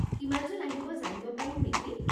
কিমানজন আহিব জানিব পাৰিম নেকি?